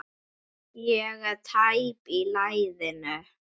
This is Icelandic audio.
Ég er tæp í lærinu.